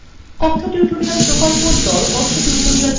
কথ্য tutorial প্রকল্প the